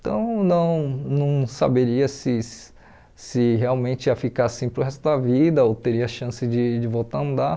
Então, não não saberia se se realmente ia ficar assim para o resto da vida ou teria chance de de voltar a andar.